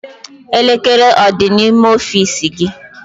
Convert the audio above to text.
Elekere ọ dị n'ime ọfiisi gị?